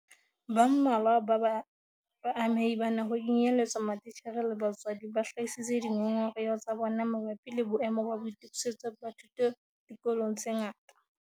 Ba mmalwa ba baamehi bana - ho kenyeletswa matitjhere le batswadi - ba hlahisitse dingongoreho tsa bona mabapi le boemo ba boitokisetso ba thuto dikolong tse ngata.